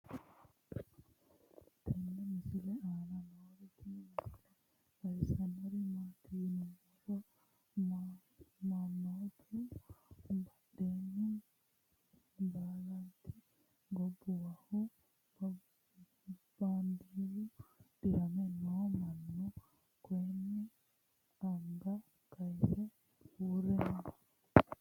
tenne misile aana noorina tini misile xawissannori maati yinummoro mannoottu badheenni baalantti gobbuwahu baandeeru diramme noo mannu kayiinni anga kayiisse uure noo